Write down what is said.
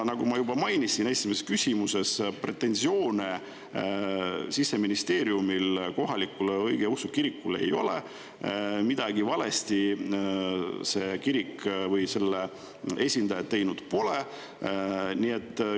Nagu ma juba mainisin esimeses küsimuses, Siseministeeriumil kohalikule õigeusu kirikule pretensioone ei ole, midagi see kirik või selle esindajad valesti teinud pole.